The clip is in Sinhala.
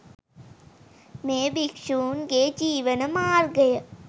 මේ භික්ෂූන් ගේ ජීවන මාර්ගය